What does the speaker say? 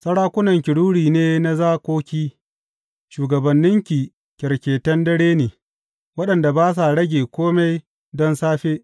Sarakunanki ruri ne na zakoki, shugabanninki kyarketan dare ne, waɗanda ba sa rage kome don safe.